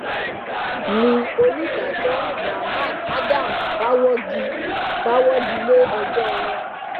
ni onídàájọ muhammad adam bá wọgi bá wọgi lé ẹjọ wọn